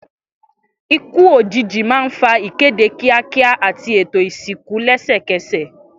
Ikú òjijì máa ń fa ìkéde kíákíá àti ètò ìsìnkú lẹ́sẹ̀kẹsẹ̀.